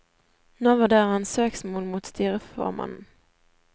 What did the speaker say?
Nå vurderer han søksmål mot styreformannen.